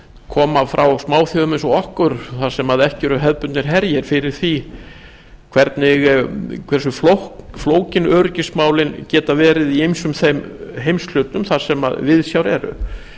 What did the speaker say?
koma frá smáþjóðum eins og okkur þar sem ekki eru hefðbundnir gerir fyrir því hversu flókin öryggismálin geta verið í ýmsum þeim heimshlutum þar sem viðsjár eru